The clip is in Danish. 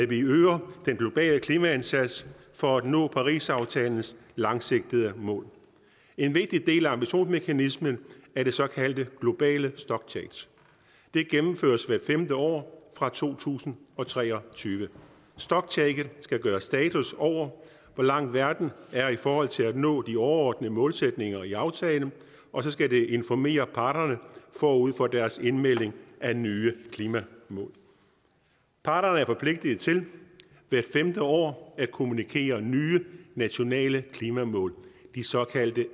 vi øger den globale klimaindsats for at nå parisaftalens langsigtede mål en vigtig del af ambitionsmekanismen er det såkaldte globale stocktake det gennemføres hvert femte år fra to tusind og tre og tyve stocktaket skal gøre status over hvor langt verden er i forhold til at nå de overordnede målsætninger i aftalen og så skal det informere parterne forud for deres indmelding af nye klimamål parterne er forpligtede til hver femte år at kommunikere nye nationale klimamål de såkaldte